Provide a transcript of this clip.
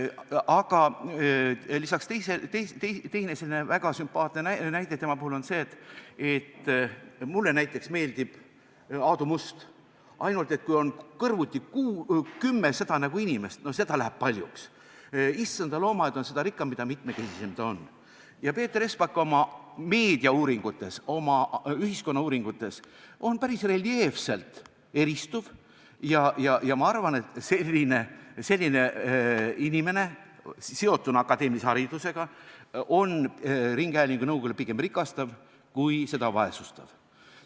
Aga lisaks sellele teine väga sümpaatne asjaolu tema puhul on see – mulle näiteks meeldib Aadu Must, aga kui kõrvuti on kümme seda nägu inimest, siis läheb seda paljuks, issanda loomaaed on seda rikkam, mida mitmekesisem ta on –, et Peeter Espak oma meediauuringutes, oma ühiskonnauuringutes on päris reljeefselt eristuv, ja ma arvan, et selline inimene seotuna akadeemilise haridusega on ringhäälingunõukogule pigem rikastav kui seda vaesestav.